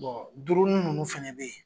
duurunu nunnu fana be yen